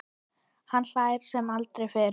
Hann hlær sem aldrei fyrr.